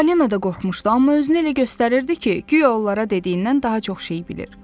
Falina da qorxmuşdu, amma özünü elə göstərirdi ki, guya onlara dediyindən daha çox şey bilir.